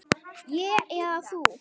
Ég eða þú?